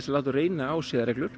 láta reyna á siðareglur